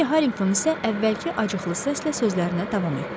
Poly Harrington isə əvvəlki acıqlı səslə sözlərinə davam etdi.